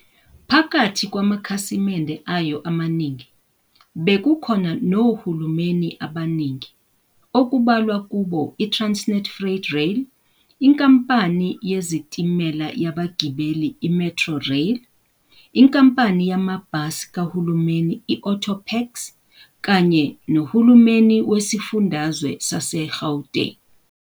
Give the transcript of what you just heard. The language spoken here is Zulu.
Phakathi kwamakhasimende ayo amaningi bekukhona nohulumeni abaningi, okubalwa kubo iTransnet Freight Rail, inkampani yezitimela yabagibeli iMetrorail, inkampani yamabhasi kahulumeni i-Autopax, kanye nohulumeni wesifundazwe saseGauteng.